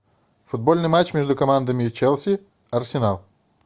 футбольный матч между командами челси арсенал